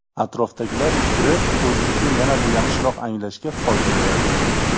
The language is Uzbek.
Atrofdagilar fikri o‘zlikni yanada yaxshiroq anglashga foyda beradi.